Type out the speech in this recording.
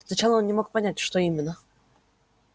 сначала он не мог понять что именно